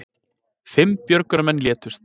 Fimm björgunarmenn létust